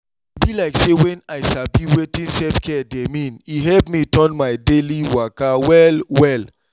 e be like say when i sabi wetin self-care dey mean e help me turn my daily waka well well.